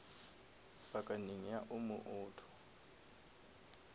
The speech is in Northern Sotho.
pakaneng ya omo auto